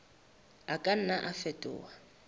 a ka nna a fetoha